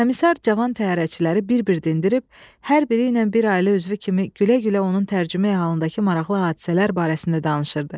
Komissar cavan təyyarəçiləri bir-bir dindirib, hər biri ilə bir ailə üzvü kimi gülə-gülə onun tərcümeyi-halındakı maraqlı hadisələr barəsində danışırdı.